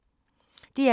DR K